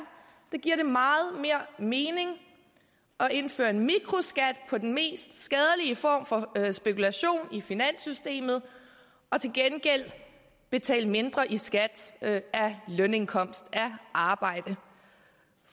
giver meget mere mening at indføre en mikroskat på den mest skadelige form for spekulation i finanssystemet og til gengæld betale mindre i skat af lønindkomst af arbejde